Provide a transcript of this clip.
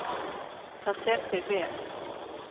Það fer þér vel.